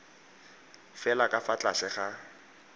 fela ka fa tlase ga